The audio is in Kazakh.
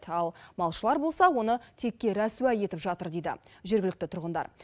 ал малшылар болса оны текке рәсуа етіп жатыр дейді жергілікті тұрғындар